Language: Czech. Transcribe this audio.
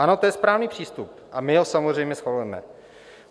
Ano, to je správný přístup a my ho samozřejmě schvalujeme.